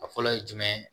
A fɔlɔ ye jumɛn ye